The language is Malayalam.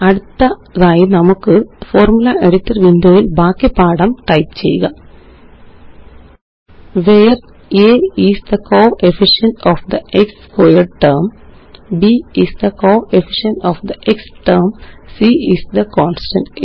അടുത്തതായി നമുക്ക് ഫോർമുല എഡിറ്റർ വിൻഡോ യില് ബാക്കി പാഠം ടൈപ്പ് ചെയ്യാം where a is the coefficient of the x squared term b is the coefficient of the x term c is the constant